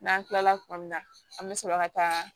N'an kilala kuma min na an bɛ sɔrɔ ka taa